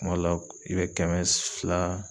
Kuma dɔ la ,i be kɛmɛ fila